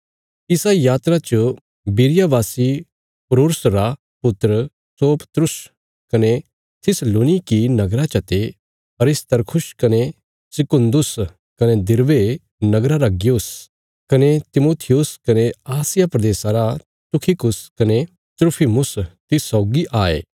इसा यात्रा च बिरिया वासी पुरूर्स रा पुत्र सोपत्रुस कने थिस्सलुनीकी नगरा चते अरिस्तर्खुस कने सिकुन्दुस कने दिरबे नगरा रा गयुस कने तिमुथियुस कने आसिया प्रदेशा रा तुखिकुस कने त्रुफिमुस तिस सौगी आये